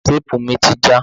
Téèpù mi ti já.